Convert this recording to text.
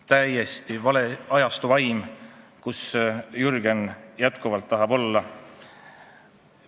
Täiesti vale on selle ajastu vaim, kus Jürgen jätkuvalt olla tahab.